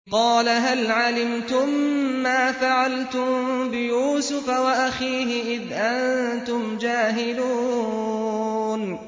قَالَ هَلْ عَلِمْتُم مَّا فَعَلْتُم بِيُوسُفَ وَأَخِيهِ إِذْ أَنتُمْ جَاهِلُونَ